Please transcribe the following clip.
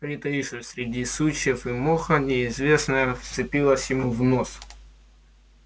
притаившись среди сучьев и моха неизвестное вцепилось ему в нос